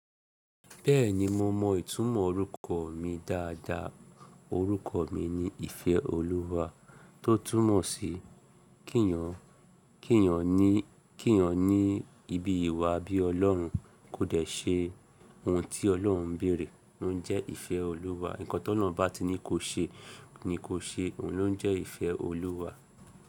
Bẹ́ẹ̀ni mo mọ ìtumọ̀ orúkọ mi dáadáa. Orúkọ mi ni Ìfẹ́olúwa tó túmọ̀ sí kí èèyàn, kí èèyàn ní, kí èèyàn ní ibi ìwà bí Ọlọ́run. Kò dẹ̀ ṣe ohun tí Ọlọ́run béèrè ló ń jẹ́ ìfẹ́ Olúwa. Ǹkan tó tọ́lọ́run bá ti ní kó ṣe ni kóo ṣe, òun ló ń jẹ́ ìfẹ́ Olúwa.